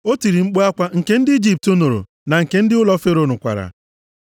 O tiri mkpu akwa nke ndị Ijipt nụrụ, na nke ndị ụlọ Fero nụkwara.